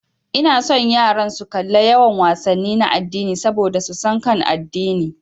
Ina son yaran su kalla yawan wasanni na addini saboda su san akan addini.